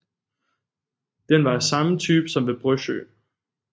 Den var af samme type som ved Brøsjø